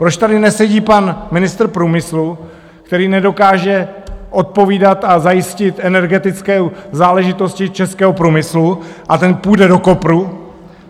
Proč tady nesedí pan ministr průmyslu, který nedokáže odpovídat a zajistit energetické záležitosti českého průmyslu, a ten půjde do kopru?